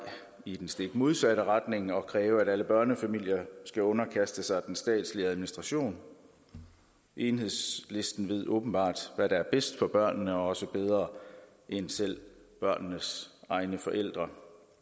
i den stik modsatte retning og kræver at alle børnefamilier skal underkaste sig den statslige administration enhedslisten ved åbenbart hvad der er bedst for børnene også bedre end selv børnenes egne forældre